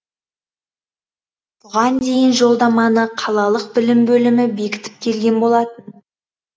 бұған дейін жолдаманы қалалық білім бөлімі бекітіп келген болатын